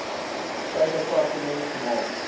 sy departement gemaak